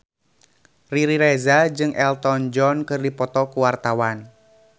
Riri Reza jeung Elton John keur dipoto ku wartawan